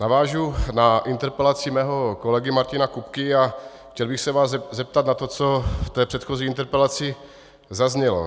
Navážu na interpelaci svého kolegy Martina Kupky a chtěl bych se vás zeptat na to, co v té předchozí interpelaci zaznělo.